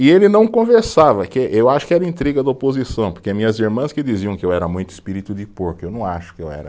E ele não conversava, que eu acho que era intriga da oposição, porque minhas irmãs que diziam que eu era muito espírito de porco, eu não acho que eu era.